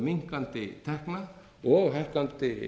minnkandi tekna og hækkandi